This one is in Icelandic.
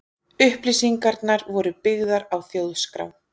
Upplýsingarnar voru byggðar á Þjóðskrá.